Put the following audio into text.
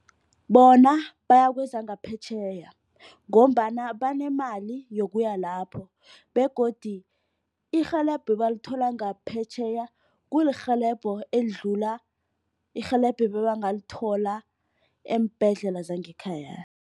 Bona baya kwezangaphetjheya ngombana banemali yokuya lapho, begodu irhelebho abalithola ngaphetjheya kulirhelebho elidlula irhelebho ebebangalithola eembhedlela zangekhaya.